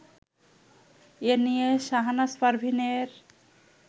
এ নিয়ে শাহনাজ পারভীনের